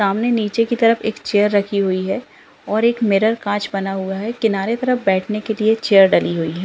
सामने नीचे की तरफ एक चेयर रखी हुई है और एक मिर्रर कांच बना हुआ है किनारे तरफ बैठने के लिए चेयर डली हुई हैं।